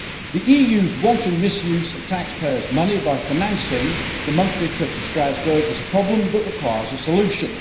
The EU's wanton misuse of taxpayers' money by financing the monthly trip to Strasbourg is a problem that requires a solution.